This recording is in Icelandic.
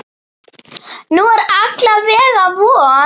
Nú er alla vega von.